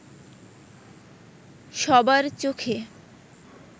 সবার চোখে